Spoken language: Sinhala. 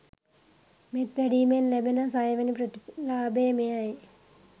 මෙත් වැඩීමෙන් ලැබෙන සයවැනි ප්‍රතිලාභය මෙයයි.